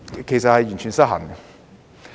其實會完全失衡。